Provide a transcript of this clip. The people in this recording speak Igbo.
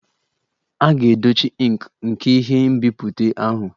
A ga-edochi ink nke ihe nbipute ahụ.